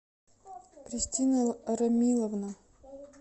кристина рамиловна